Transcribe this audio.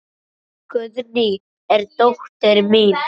Guðný er dóttir mín.